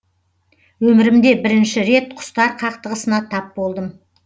өмірімде бірінші рет құстар қақтығысына тап болдым